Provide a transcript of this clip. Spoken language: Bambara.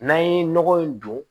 N'an ye nɔgɔ in don